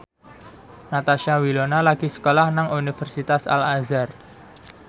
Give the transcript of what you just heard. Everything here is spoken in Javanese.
Natasha Wilona lagi sekolah nang Universitas Al Azhar